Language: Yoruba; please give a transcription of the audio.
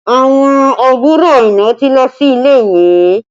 Àwọn àbúrò Aina ti lọ sí ilé ìwé